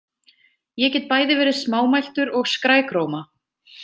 Ég get bæði verið smámæltur og skrækróma.